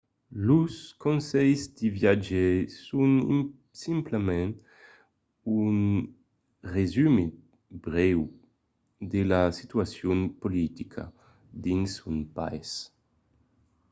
los conselhs de viatge son simplament un resumit brèu de la situacion politica dins un país